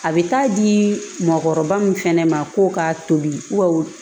A bɛ taa di mɔgɔkɔrɔba min fɛnɛ ma ko k'a toli